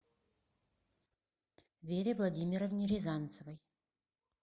вере владимировне рязанцевой